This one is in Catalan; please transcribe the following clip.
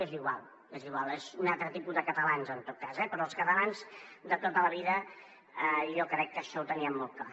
és igual és igual és un altre tipus de catalans en tot cas eh però els catalans de tota la vida jo crec que això ho tenien molt clar